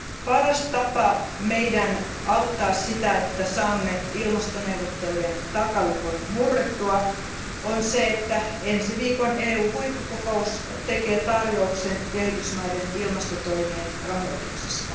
Paras tapa meidän auttaa sitä, että saamme ilmastoneuvottelujen takalukon murrettua, on se, että ensi viikon EU huippukokous tekee tarjouksen kehitysmaiden ilmastotoimien rahoituksesta.